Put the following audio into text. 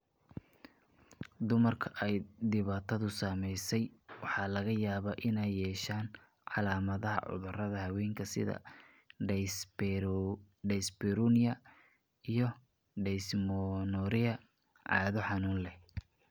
Dumarka ay dhibaatadu saameysey waxaa laga yaabaa inay yeeshaan calaamadaha cudurada haweenka sida dyspareunia iyo dysmenorrhea (cado xanuun leh).